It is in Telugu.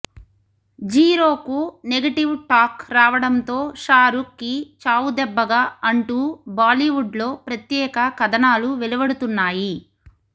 జీరో కు నెగిటివ్ టాక్ రావడంతో షారుఖ్ కి చావుదెబ్బగా అంటూ బాలీవుడ్ లో ప్రత్యేక కథనాలు వెలువడుతున్నాయి